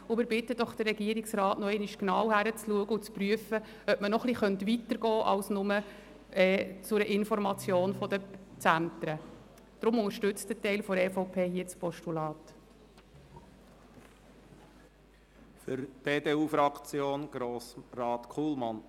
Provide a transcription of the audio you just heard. Wir bitten den Regierungsrat, nochmals genau hinzuschauen und zu prüfen, ob man noch etwas weitergehen könnte als nur bis zur Information der Zentren.